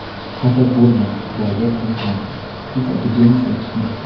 Xafa bo‘lma, Bobir Akilkhanov Tech Academy seni kutmoqda!.